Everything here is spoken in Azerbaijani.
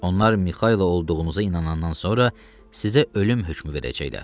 Onlar Mixaylov olduğunuza inanandan sonra sizə ölüm hökmü verəcəklər.